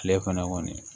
Tile kɔnɔ kɔni